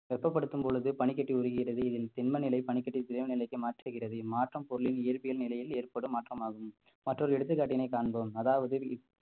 வெப்பப்படுத்தும் பொழுது பனிக்கட்டி உருகுகிறது இதில் திண்ம நிலை பனிக்கட்டி திரவ நிலைக்கு மாற்றுகிறது இம்மாற்றம் பொருளின் இயற்பியல் நிலையில் ஏற்படும் மாற்றமாகும் மற்றொரு எடுத்துக்காட்டினை காண்போம் அதாவது